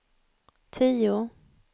tio